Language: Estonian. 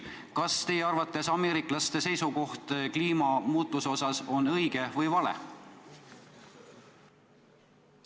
Kas teie arvates ameeriklaste seisukoht kliimamuutuse kohta on õige või vale?